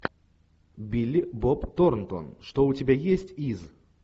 билли боб торнтон что у тебя есть из